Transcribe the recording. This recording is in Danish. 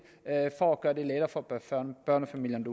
for at gøre det lettere for børnefamilierne